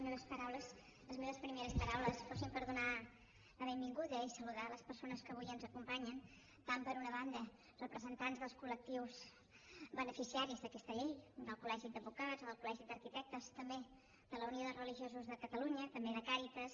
voldria que les meves primeres paraules fossin per donar la benvinguda i saludar les persones que avui ens acompanyen tant per una banda representants dels col·lectius beneficiaris d’aquesta llei del col·legi d’advocats o del col·legi d’arquitectes també de la unió de religiosos de catalunya també de càritas